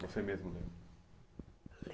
Você mesmo leu?